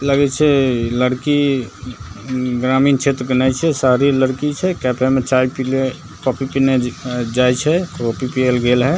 लगे छै लड़की उम् ग्रामीण क्षेत्र के नै छै शहरी लड़की छै कैफ़े में चाय पीले कॉफ़ी पीने जाय छै कॉफ़ी पिये ले गेल हई ।